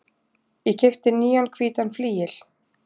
Ég keypti nýjan hvítan flygil.